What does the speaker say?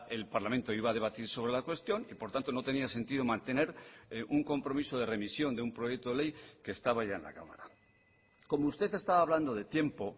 el parlamento iba a debatir sobre la cuestión y por tanto no tenía sentido mantener un compromiso de remisión de un proyecto de ley que estaba ya en la cámara como usted estaba hablando de tiempo